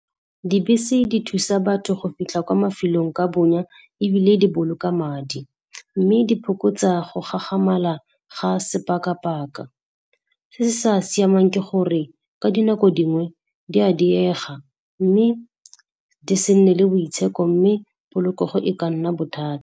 Dibese di thusa batho go fitlha kwa mafelong ka bonya ebile di boloka madi, mme di fokotsa go gagamala ga sepakapaka. Se sa siamang ke gore ka dinako dingwe di a diega, mme di se nne le boitsheko, mme polokego e ka nna bothata.